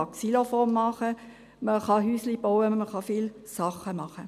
Man kann Xylofone machen, man kann Häuschen bauen, man kann viele Sachen machen.